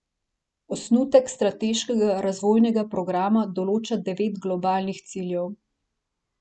Osnutek strateškega razvojnega programa določa devet globalnih ciljev.